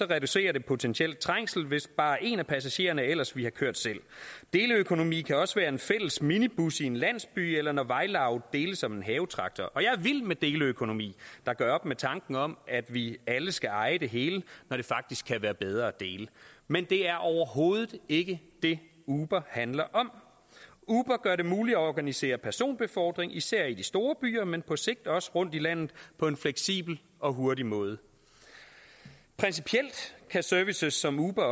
reducerer det potentielt trængsel hvis bare en af passagererne ellers ville have kørt selv deleøkonomi kan også være en fælles minibus i en landsby eller når et vejlaug deles om en havetraktor og jeg er vild med deleøkonomi der gør op med tanken om at vi alle skal eje det hele når det faktisk kan være bedre at dele men det er overhovedet ikke det uber handler om uber gør det muligt at organisere personbefordring især i de store byer men på sigt også rundt i landet på en fleksibel og hurtig måde principielt kan services som uber